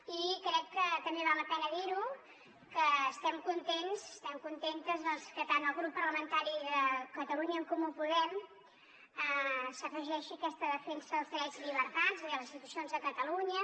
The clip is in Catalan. i crec que també val la pena dir ho estem contents estem contentes doncs que tant el grup parlamentari de catalunya en comú podem s’afegeixi a aquesta defensa dels drets i llibertats i de les institucions de catalunya